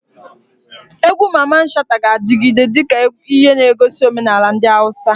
Egwu Mamman Shata ga-adigide dika ihe negosi omenala ndi Hausa.